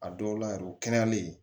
A dɔw la yɛrɛ u kɛnɛyalen